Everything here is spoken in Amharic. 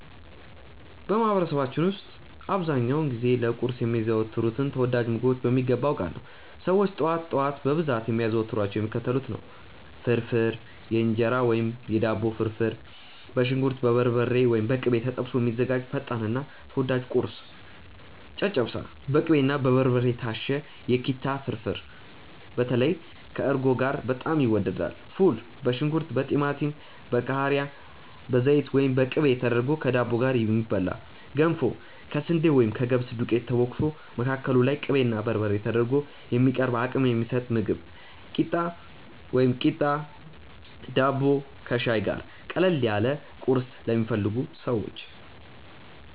በማህበረሰባችን ውስጥ አብዛኛውን ጊዜ ለቁርስ የሚዘወተሩትን ተወዳጅ ምግቦች በሚገባ አውቃለሁ! ሰዎች ጠዋት ጠዋት በብዛት የሚያዘወትሯቸው የሚከተሉትን ነው፦ ፍርፍር (የእንጀራ ወይም የዳቦ ፍርፍር)፦ በሽንኩርት፣ በበርበሬ (ወይም በቅቤ) ተጠብሶ የሚዘጋጅ ፈጣንና ተወዳጅ ቁርስ። ጨጨብሳ፦ በቅቤና በበርበሬ የታሸ የኪታ ፍርፍር (በተለይ ከእርጎ ጋር በጣም ይወደዳል)። ፉል፦ በሽንኩርት፣ በቲማቲም፣ በቃሪያ፣ በዘይት ወይም በቅቤ ተደርጎ ከዳቦ ጋር የሚበላ። ገንፎ፦ ከስንዴ ወይም ከገብስ ዱቄት ተቦክቶ፣ መካከሉ ላይ ቅቤና በርበሬ ተደርጎ የሚቀርብ አቅም የሚሰጥ ምግብ። ኪታ፣ ቂጣ ወይም ዳቦ ከሻይ ጋር፦ ቀለል ያለ ቁርስ ለሚፈልጉ ሰዎች።